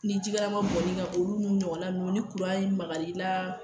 Ni ji kalaman bɔn n'i kan, olu n'u ɲɔgɔn na nunnu ni maka i la